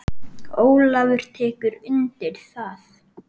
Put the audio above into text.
Ólafur tekur undir það.